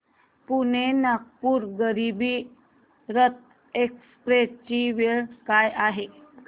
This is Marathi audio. पुणे नागपूर गरीब रथ एक्स्प्रेस ची वेळ काय आहे